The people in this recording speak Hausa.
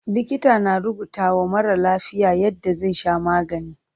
Likita na rubutawa marar lafiya yadda zai sha magani.